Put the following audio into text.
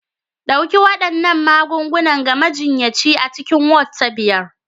Ɗauki waɗannan magungunan ga majiyyaci a cikin Ward ta biyar